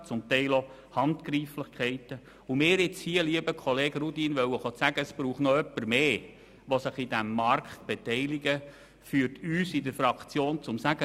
zum Teil auch Handgreiflichkeiten – mir jetzt zu sagen, lieber Kollege Rudin, es brauche noch zusätzlich jemanden, der sich an diesem Markt beteiligt, führt uns in der Fraktion zum Entscheid: